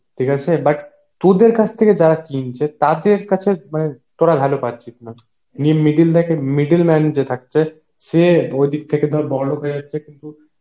ঠিক আছে but তোদের কাছ থেকে যারা কিনছে তাদের কাছে মানে তোরা ভ্যালু পাচ্ছিস middle man যে থাকছে সে ওই দিক থেকে ধর বড়লোক হয়ে যাচ্ছে কিন্তু